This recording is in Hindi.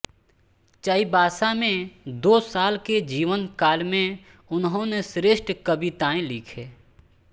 चाइबासा में दो साल के जीवनकाल में उन्होने श्रेष्ठ कवितायें लिखे